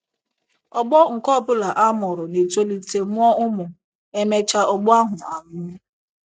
Ọgbọ nke ọ bụla a mụrụ na - etolite mụọ ụmụ, e mechaa ọgbọ ahụ anwụọ.